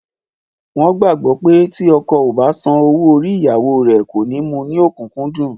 Wọn gbàgbó pé tí ọkọ o bá san owó orí ìyàwó rè, kò ní mu ní okunkundun